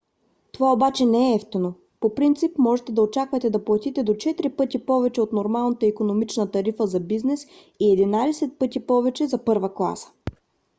това обаче не е евтино: по принцип можете да очаквате да платите до четири пъти повече от нормалната икономична тарифа за бизнес и единадесет пъти повече за първа класа!